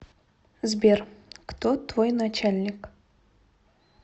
сбер кто твой начальник